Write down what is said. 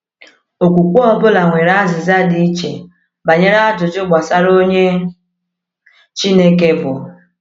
Okwukwe ọ bụla nwere azịza dị iche banyere ajụjụ gbasara onye Chineke bụ.